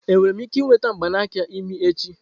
Enwere m ike ịnweta mgbanaka imi echi?